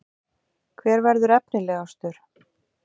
Hver verður efnilegastur?